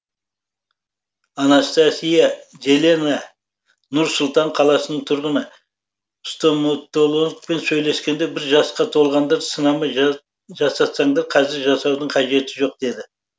анастасия зелена нұр сұлтан қаласының тұрғыны стоматологпен сөйлескенде бір жасқа толғанда сынама жасатсаңдар қазір жасаудың қажеті жоқ деді